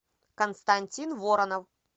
константин воронов